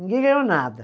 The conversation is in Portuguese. Ninguém ganhou nada.